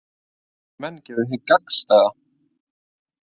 Menn gerðu hið gagnstæða